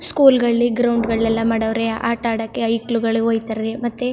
school ಗಳಲ್ಲಿ ground ಗಳೆಲ್ಲಾ ಮಾಡೋವ್ರೆ ಆಟ ಆಡಕ್ಕೆ ಐಕ್ಳುಗಳು ಹೋಯ್ ತರೆ ಮತ್ತೆ --